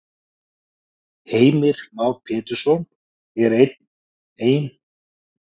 Heimir Már Pétursson: Er ein, er einhver möguleiki að þetta innheimtist?